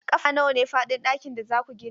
Ƙafa nawa ne faɗin ɗakin da za ku gina?